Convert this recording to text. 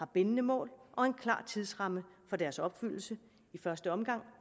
bindende mål og en klar tidsramme for deres opfyldelse i første omgang